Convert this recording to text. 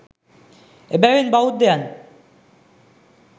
එබැවින් බෞද්ධයන්